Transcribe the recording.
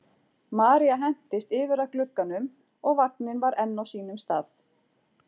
María hentist yfir að glugganum og vagninn var enn á sínum stað.